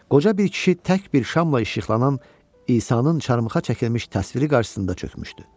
Qoca bir kişi tək bir şamla işıqlanan İsanın çarmıxa çəkilmiş təsviri qarşısında çökmüşdü.